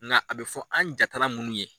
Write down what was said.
Nka a be fɔ an jatalan munnu ye